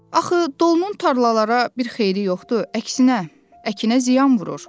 Axı dolunun tarlalara bir xeyri yoxdur, əksinə əkinə ziyan vurur.